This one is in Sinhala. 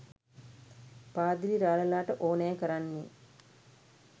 පාදිලි රාළලාට ඕනෑ කරන්නේ